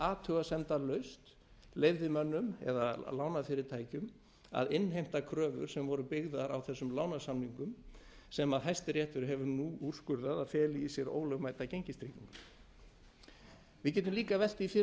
athugasemdalaust leið mönnum eða lánafyrirtækjum að innheimta kröfur sem voru byggðar á þessum lánasamningum sem hæsti réttur hefur nú úrskurðað að feli í sér ólögmæta gengistryggingu við getum líka velt því fyrir